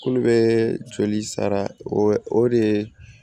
Kulu bɛ joli sara o de ye